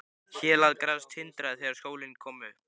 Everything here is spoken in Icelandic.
Hélað gras tindraði þegar sólin kom upp.